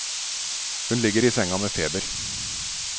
Hun ligger i senga med feber.